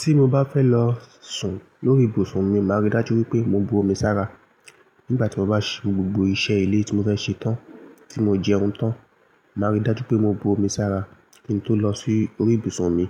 Tí mo bá fẹ́ lọ sùn lórí ibùsùn mi, màá rí dájú wípé mo bu omi sára. Nígbà tí mo bá ṣe gbogbo iṣẹ́ ilé tí mo fẹ́ ṣe tán, tí mo jẹun tán, màá rí dájú pé mo bu omi sára kí n tó lọ sí orí ibùsùn mi.